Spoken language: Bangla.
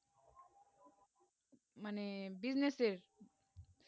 মানে business এর